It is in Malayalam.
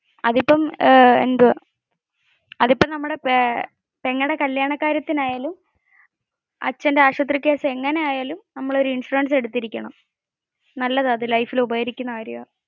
അതിപ്പോ നമ്മുടെ പെങ്ങളുടെ കല്യാണ കാര്യത്തിന് ആയാലും അച്ഛന്റെ ആശുപത്രി കേസ് ആയാലും നമ്മൾ ഇൻഷുറൻസ് എടുത്തിരിക്കണമ്